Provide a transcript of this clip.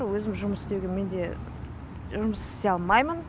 өзім жұмыс істеуге менде жұмыс істей алмаймын